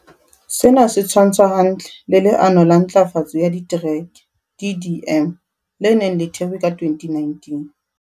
Sena se tshwantshwa hantle le Le ano la Ntlafatso ya Ditereke, DDM, le neng le thehwe ka 2019.